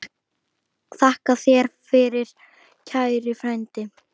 Þakka þér fyrir, kæri frændi.